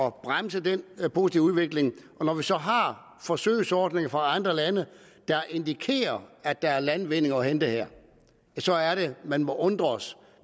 at bremse den positive udvikling når vi så har forsøgsordninger fra andre lande der indikerer at der er landvindinger at hente her så er det at man må undres